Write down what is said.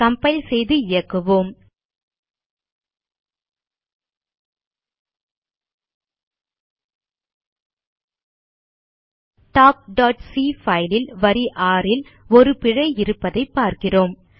compile செய்து இயக்குவோம் talkசி பைல் ல் வரி 6 ல் ஒரு பிழை இருப்பதைப் பார்க்கிறோம்